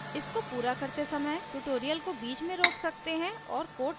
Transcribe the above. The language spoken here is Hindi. इसको पूरा करते समय ट्यूटोरियल को बीच में रोक सकते हैं और कोड टाइप करें